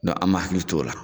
an m'a hakili t'o la.